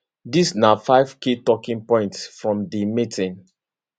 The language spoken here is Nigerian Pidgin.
dis na five key talking points from di meeting